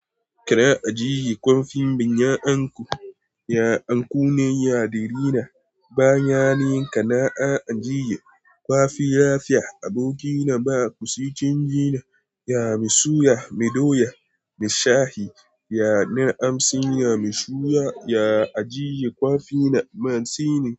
Kira a ji kun finmbi yayan ku Ya anku ne ya darina, baya ni kana'a ajiye. Kwafi ya fiya aboki na ba ku si cin jina. Ya mi suya, mi doya, mi shahi. Ya na amsin, ya mi shuya, ya ajiye kwafi na. Man si ni.